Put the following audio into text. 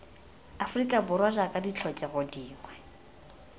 aforika borwa jaaka ditlhokego dingwe